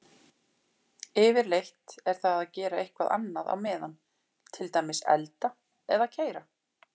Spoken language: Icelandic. Yfirleitt er það að gera eitthvað annað á meðan, til dæmis elda eða keyra.